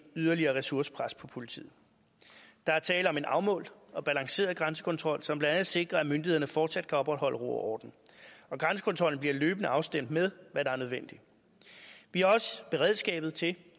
yderligere ressourcepres på politiet der er tale om en afmålt og balanceret grænsekontrol som blandt andet sikrer at myndighederne fortsat kan opretholde ro og orden og grænsekontrollen bliver løbende afstemt med hvad der er nødvendigt vi har også beredskabet til